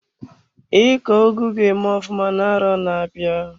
Iko ugu ga-eme ofụma na arọ na-abịa?